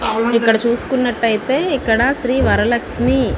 ఇక్కడ చుస్కున్నట్టయితే ఇక్కడ శ్రీ వర లక్ష్మి --